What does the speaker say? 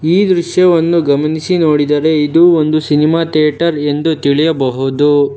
ಈ ದೃಶ್ಯವನ್ನು ಗಮನಿಸಿ ನೋಡಿದರೆ ಇದೊಂದು ಸಿನಿಮಾ ಥಿಯೇಟರ್ ಎಂದು ತಿಳಿಯಬಹುದು.